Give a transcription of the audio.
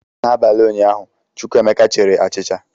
N'abalị ụnyaahụ, Chukwuemeka chiri achịcha.